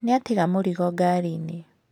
Nĩ aatiga mũrigo ngari-inĩ.